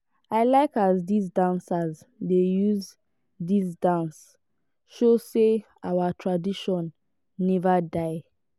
i like as dese dancers dey use dis dance show sey our tradition neva die.